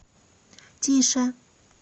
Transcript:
тише